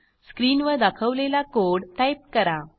स्क्रीनवर दाखवलेला code type करा